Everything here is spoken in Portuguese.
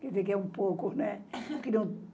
Quer dizer que é um pouco, né?